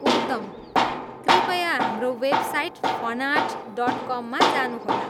उत्तम! कृपया हाम्रो website funart dot कममा जानुहोला।